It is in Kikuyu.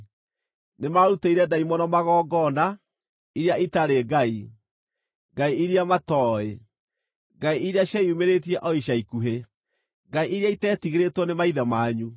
Nĩmarutĩire ndaimono magongona, iria itarĩ Ngai: ngai iria matooĩ, ngai iria cieyumĩrĩtie o ica-ikuhĩ, ngai iria iteetigĩrĩtwo nĩ maithe manyu.